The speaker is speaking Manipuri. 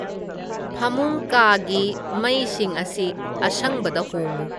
ꯐꯥꯃꯨꯡ ꯀꯥꯒꯤ ꯃꯩꯁꯤꯡ ꯑꯁꯤ ꯑꯁꯪꯕꯗ ꯍꯣꯡꯉꯨ